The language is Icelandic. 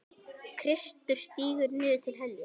Kristur stígur niður til heljar.